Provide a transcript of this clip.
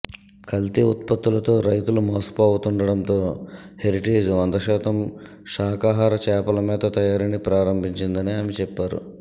కల్తీ ఉత్పత్తులతో రైతులు మోసపోతుండటంతో హెరిటేజ్ వంద శాతం శాఖాహార చేపల మేత తయారీని ప్రారంభించిందని ఆమె చెప్పారు